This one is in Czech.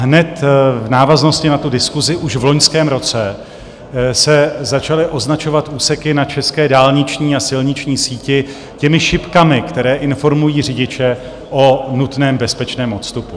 Hned v návaznosti na tu diskusi už v loňském roce se začaly označovat úseky na české dálniční a silniční síti těmi šipkami, které informují řidiče o nutném bezpečném odstupu.